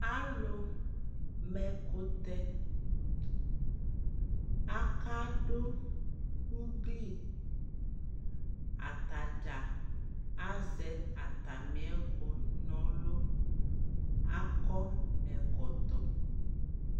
Alu ma ɛkutɛ akadu uglii Ataɖʒa aʒɛ atamiɛku nɔlu aakɔ ɛkɔtɔ